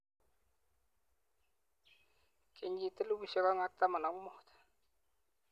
kenyit 2015